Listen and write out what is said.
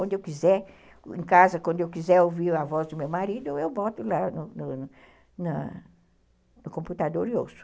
Onde eu quiser, em casa, quando eu quiser ouvir a voz do meu marido, eu boto lá no no no na no computador e ouço.